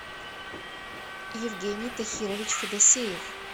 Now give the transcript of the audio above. евгений тахирович федосеев